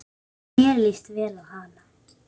Mér líst vel á hana.